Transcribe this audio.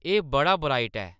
एह्‌‌ बड़ा ब्राइट ऐ